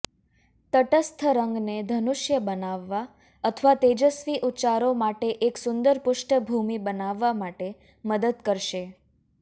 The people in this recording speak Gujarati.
તટસ્થ રંગને ધનુષ્ય બનાવવા અથવા તેજસ્વી ઉચ્ચારો માટે એક સુંદર પૃષ્ઠભૂમિ બનાવવા માટે મદદ કરશે